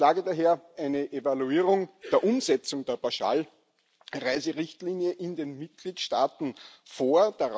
Ich schlage daher eine Evaluierung der Umsetzung der Pauschalreiserichtlinie in den Mitgliedstaaten vor.